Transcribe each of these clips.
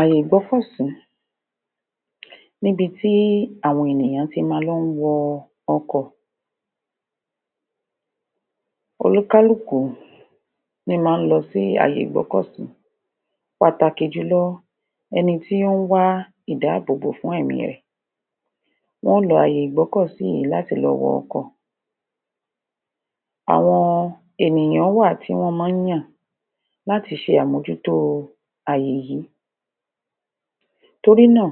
Àyè ìgbọ́kọ̀sí níbi tí àwọn ènìyàn ti máa ń lọ wọ ọkọ̀ oníkálùkù ní máa ń lọ sí àyè ìgbọ́kọ̀sí pàtàkì jùlọ ẹni tí wọ́n wá ìdáàbòbò fún ẹ̀mí ẹ̀ wọn ó lọ àyè ìgbọ́kọ̀sií yìí láti lọ wọ ọkọ̀ àwọn ènìyàn wà tí wọ́n máa ń yàn láti ṣe àmójútó àyè yìí torí náà,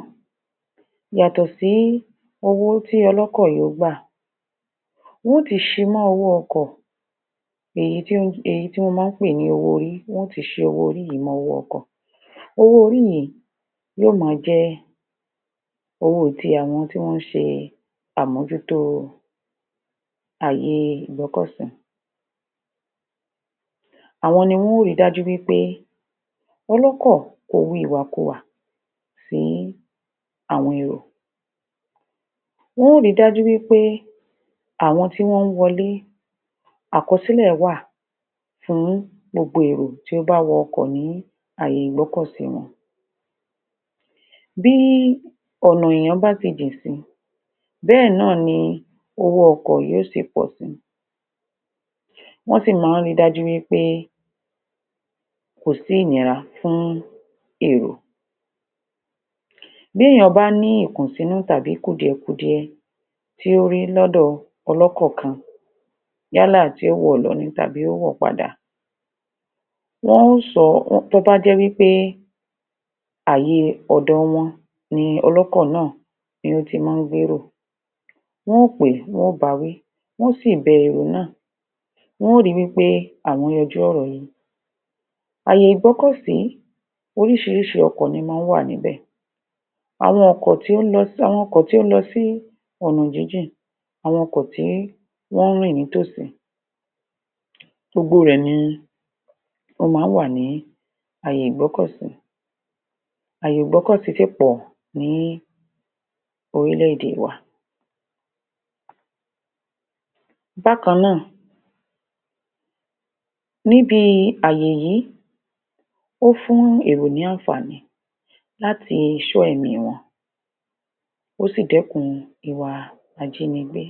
yàtọ̀ sí owó tí ọlọ́kọ̀ yìí ń gbà wọ́n ó ti ṣi owó-orí yìí mọ́ owó ọkọ̀.owó-orí yìí yóò máa jẹ́ owó ti àwọn tí ó ń ṣe àmójútó àyè ìgbọ́kọ̀sí àwọn ni wọn ó ri dájú wí pé ọlọ́kọ̀ kò wa ìwàkuwà fún àwọn èrò wọn ó ri dájú wí pé àwọn tí wọn wọlé àkọsílẹ̀ wà fún gbogbo èrò tí ó bá wọ ọkọ̀ ní àyè ìgbọ́kọ̀sí wọn bí ọ̀nà èèyàn bá ṣe jìn sí bẹ́ẹ̀ náà ni owó ọkọ̀ yóò ṣe pọ̀ sí wọ́n sì máa ń ri dájú pé kò sí ìnira fún èrò bí èèyàn bá ní ìkùnsínú tàbí kùdìẹ̀kudiẹ tí ó rí lọ́dọ̀ ọlọ́kọ̀ kan yálà tí ó wọ̀ lọ tàbí tí ó wọ̀ padà wọ́n ó sọ tó bá jẹ́ wí pé àyè ọ̀dọ̀ wọn ni ọlọ́kọ̀ náà ni ó ti máa ń gbérò wọ́n ó pè é wọ́n ó bawí wọn ó sì bẹ òun náà wọn ó ri wí pé àwọn yanjú ọ̀rọ̀ yẹn. Àyè ìgbọ́kọ̀sí oríṣiríṣi ló máa ń wà níbẹ̀ àwọn ọkọ̀ tí ó ń lọ sí ọ̀nà jíjìn, àwọn ọkọ̀ tí wọ́n rìn ní tòsí gbogbo rẹ̀ ni ó máa ń wà ní àyè ìgbọ́kọ̀sí àyè ìgbọ́kọ̀sí sì pọ̀ ní orílẹ̀-èdè wa bákan náà, níbi àyè yìí ó ń fún èrò ní àǹfàní láti ṣọ́ ẹ̀mí wọn ó sì dékun ìwà ajínigbé